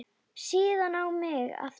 Síðan á mig aftur.